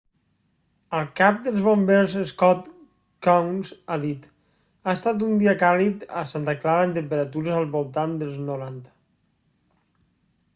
el cap dels bombers scott kouns ha dit ha estat un dia càlid a santa clara amb temperatures al voltant dels 90